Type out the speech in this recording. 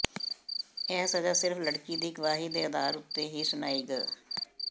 ਇਹ ਸਜ਼ਾ ਸਿਰਫ ਲੜਕੀ ਦੀ ਗਵਾਹੀ ਦੇ ਅਧਾਰ ਉਤੇ ਹੀ ਸੁਣਾਈ ਗ